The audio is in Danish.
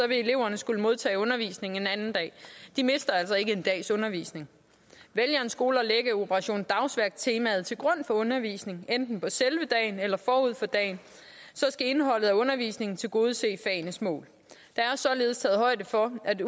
vil eleverne skulle modtage undervisning en anden dag de mister altså ikke en dags undervisning vælger en skole at lægge operation dagsværk temaet til grund for undervisningen enten på selve dagen eller forud for dagen skal indholdet af undervisningen tilgodese fagenes mål der er således taget højde for at